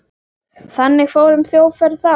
Þannig fór um sjóferð þá.